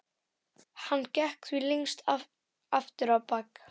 Hann gekk því lengst af aftur á bak.